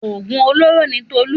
Òògùn olóró ni Tolu.